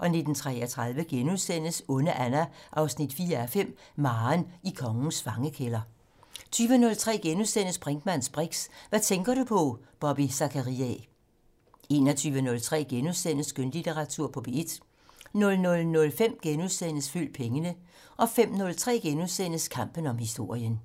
19:33: Onde Anna 4:5 - Maren i kongens fangekælder * 20:03: Brinkmanns briks: Hvad tænker du på? Bobby Zachariae * 21:03: Skønlitteratur på P1 * 00:05: Følg pengene * 05:03: Kampen om historien *